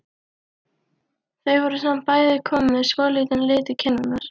Þau voru samt bæði komin með svolítinn lit í kinnarnar.